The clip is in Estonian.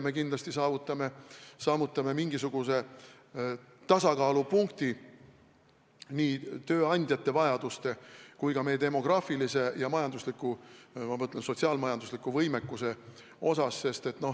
Me kindlasti saavutame mingisuguse tasakaalupunkti tööandjate vajaduste ja meie demograafilise ja majandusliku – ma mõtlen sotsiaal-majandusliku – võimekuse osas.